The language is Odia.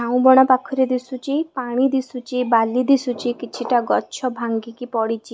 ଝାଉଁ ବଣ ପାଖରେ ଦିଶୁଚି ପାଣି ଦିଶୁଚି ବାଲି ଦିଶୁଚି କିଛିଟା ଗଛ ଭାଙ୍ଗିକି ପଡ଼ିଚି।